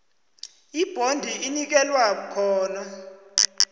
ibhondi inikelwa khona